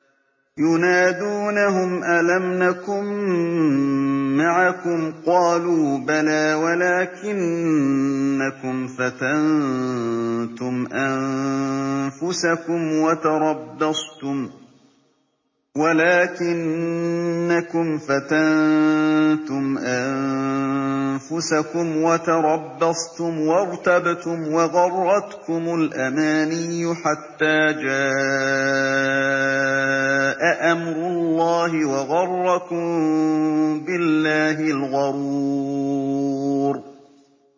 يُنَادُونَهُمْ أَلَمْ نَكُن مَّعَكُمْ ۖ قَالُوا بَلَىٰ وَلَٰكِنَّكُمْ فَتَنتُمْ أَنفُسَكُمْ وَتَرَبَّصْتُمْ وَارْتَبْتُمْ وَغَرَّتْكُمُ الْأَمَانِيُّ حَتَّىٰ جَاءَ أَمْرُ اللَّهِ وَغَرَّكُم بِاللَّهِ الْغَرُورُ